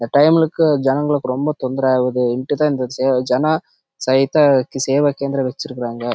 இந்த தடவை கு ஜெகங்களுக்கு ரொம்ப டிஸ்ட்ரிப் ஆஹ் இருக்குது